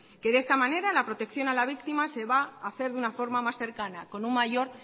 que de esta manera la protección a la víctima se va a hacer de una forma más cercana con un mayor